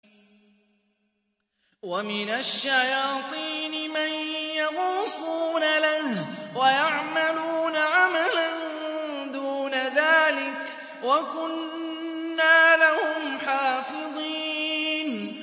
وَمِنَ الشَّيَاطِينِ مَن يَغُوصُونَ لَهُ وَيَعْمَلُونَ عَمَلًا دُونَ ذَٰلِكَ ۖ وَكُنَّا لَهُمْ حَافِظِينَ